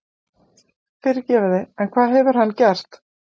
Fyrirgefiði en hvað hefur hann gert?